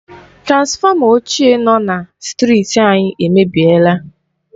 Transfọma ochié nọ na strịti anyị èmèbịèlà